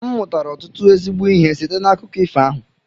M mụtara ọtụtụ ezigbo ihe site n'akụkọ ifo ahụ